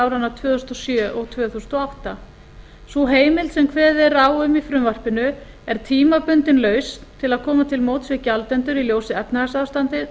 áranna tvö þúsund og sjö og tvö þúsund og átta sú heimild sem kveðið er á um í frumvarpinu er tímabundin lausn til að koma til móts við gjaldendur í ljósi efnahagsástandsins